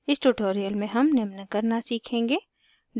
इस tutorial में हम निम्न करना सीखेंगे